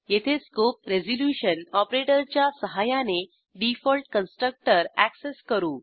येथे scope resolution ऑपरेटरच्या सहाय्याने डिफॉल्ट कन्स्ट्रक्टर अॅक्सेस करू